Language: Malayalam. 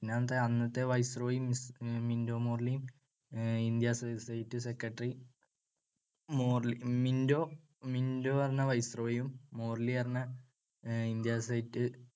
അന്നത്തെ viceroy മിൻറ്റോ മോർലിയും India state secretary. Morley~ Minto Minto പറഞ്ഞ viceroy യും മോർലി എന്നുപറഞ്ഞ ഇന്ത്യ state